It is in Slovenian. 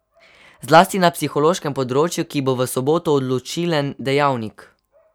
Zlasti na psihološkem področju, ki bo v soboto odločilen dejavnik.